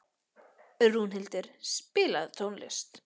Rúnhildur, spilaðu tónlist.